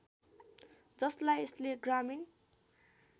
जसलाई यसले ग्रामीण